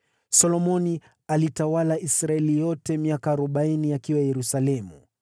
Solomoni alitawala Israeli yote miaka arobaini, akiwa Yerusalemu.